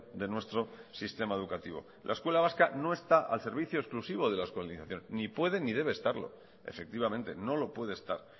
de nuestro sistema educativo la escuela vasca no está al servicio exclusivo de la euskaldunización ni puede ni debe estarlo efectivamente no lo puede estar